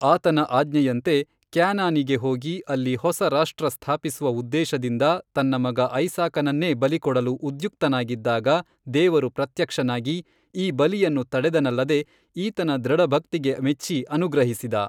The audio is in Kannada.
ಆತನ ಆಜ್ಞೆಯಂತೆ ಕ್ಯಾನಾನಿಗೆ ಹೋಗಿ ಅಲ್ಲಿ ಹೊಸ ರಾಷ್ಟ್ರ ಸ್ಥಾಪಿಸುವ ಉದ್ದೇಶದಿಂದ ತನ್ನ ಮಗ ಐಸಾಕನನ್ನೇ ಬಲಿಕೊಡಲು ಉದ್ಯುಕ್ತನಾಗಿದ್ದಾಗ ದೇವರು ಪ್ರತ್ಯಕ್ಷನಾಗಿ ಈ ಬಲಿಯನ್ನು ತಡೆದನಲ್ಲದೆ ಈತನ ದೃಢಭಕ್ತಿಗೆ ಮೆಚ್ಚಿ ಅನುಗ್ರಹಿಸಿದ.